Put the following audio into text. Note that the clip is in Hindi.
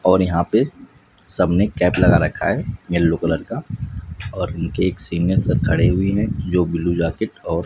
और यहां पे सब ने कैप लगा रखा है येलो कलर का और उनके एक सीनियर सब खड़े हुए है जो ब्लू जैकेट और--